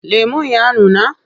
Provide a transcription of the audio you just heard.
Lemon ya nuna?